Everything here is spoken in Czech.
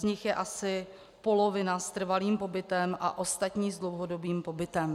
Z nich je asi polovina s trvalým pobytem a ostatní s dlouhodobým pobytem.